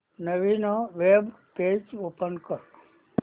नवीन web page open कर